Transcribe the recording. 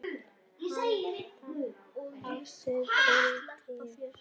Handa átta til tíu